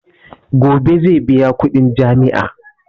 Gobe zai biya kudin jami'a.